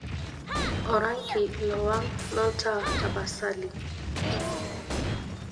orangi lowang' loltaa tapasali